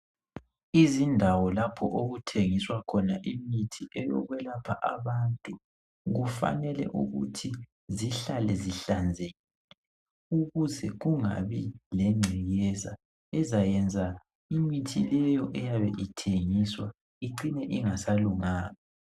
Izindawo lapho okuthengiswa khona imithi eyokwelapha abantu kufanele ukuthi zihlale zihlanzekile ukuze kungabi lengcekeza ezayenza imithi leyo eyabe ithengiswa icine ingasalunganga.